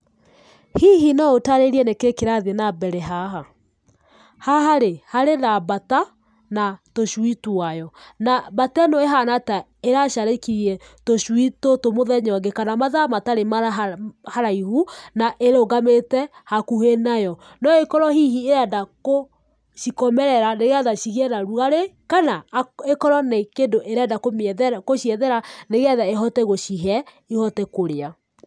Hihi no ũtarĩrie nĩ kĩĩ kĩrathiĩ na mbere haha? Haha-rĩ, harĩ na mbata na tũcui twayo. Na mbata ĩno ĩhana ta ĩracarĩkirie tũcui tũtũ mũthenya ũngĩ kana mathaa matarĩ haraihu na ĩrũgamĩte hakuhĩ nayo. No ĩkorwo hihi irenda gũcikomerera nĩ getha cigĩe na rugarĩ, kana, ĩkorwo nĩ kĩndũ ĩrenda kũmĩethera, gũciethera nĩgetha ĩhote gũcihe ihote kũrĩa.